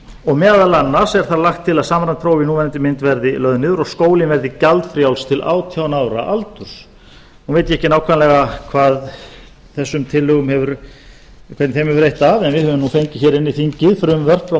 og meðal annars er þar lagt til að samræmd próf í núverandi mynd verði lögð niður og skólinn verði gjaldfrjáls til átján ára aldurs nú veit ég ekki nákvæmlega hvernig þessum tillögum hefur reitt af en við höfum nú fengið hér inn í þingið frumvörp frá